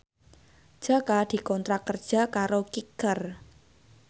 Jaka dikontrak kerja karo Kicker